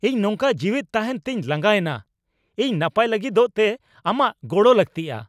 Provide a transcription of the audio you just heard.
ᱤᱧ ᱱᱚᱝᱠᱟ ᱡᱤᱣᱮᱫ ᱛᱟᱦᱮᱸᱱ ᱛᱮᱧ ᱞᱟᱸᱜᱟᱭᱮᱱᱟ ! ᱤᱧ ᱱᱟᱯᱟᱭ ᱞᱟᱹᱜᱤᱫᱚᱜ ᱛᱮ ᱟᱢᱟᱜ ᱜᱚᱲᱚ ᱞᱟᱹᱠᱛᱤᱼᱟ !